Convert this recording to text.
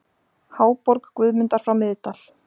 Háborg Guðmundar frá Miðdal